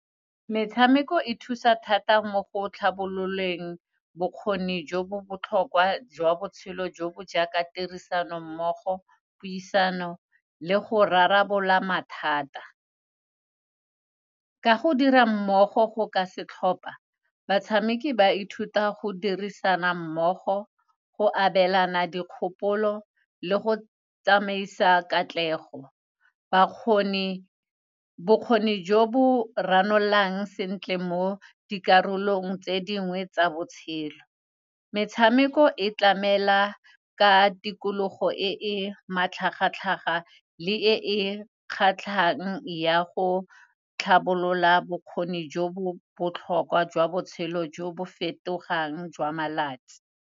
Metshameko e thusa thata mo go tlhabololeng bokgoni jo bo botlhokwa jwa botshelo jo bo jaaka tirisano mmogo, puisano le go rarabolola mathata. Ka go dira mmogo go ka setlhopa, batshameki ba ithuta go dirisana mmogo, go abelana dikgopolo le go tsamaisa katlego. Bakgoni, Bokgoni jo bo ranololang sentle mo dikarolong tse dingwe tsa botshelo. Metshameko e tlamela ka tikologo e e matlhagatlhaga le e e kgatlhang, ya go tlhabolola bokgoni jo bo botlhokwa jwa botshelo jo bo fetogang jwa malatsi.